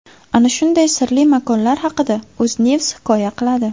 Ana shunday sirli makonlar haqida UzNews hikoya qiladi .